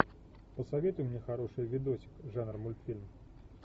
посоветуй мне хороший видосик жанра мультфильм